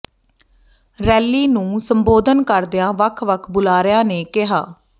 rally ਨੂੰ ਸੰਬੋਧਨ ਕਰਦਿਆਂ ਵੱਖ ਵੱਖ ਬੁਲਾਰਿਆਂ ਨੇ ਕਿਹਾ